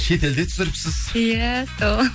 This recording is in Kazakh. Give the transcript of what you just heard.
шет елде түсіріпсіз иә сол